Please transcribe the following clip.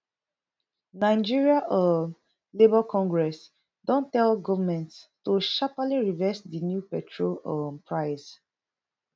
nigeria um labour congress don tell goment to sharpely reverse di new petrol um price